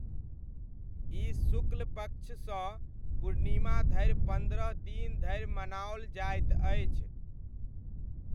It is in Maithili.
ई शुक्ल पक्षसँ पूर्णिमा धरि पन्द्रह दिन धरि मनाओल जाइत अछि।